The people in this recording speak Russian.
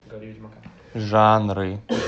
жанры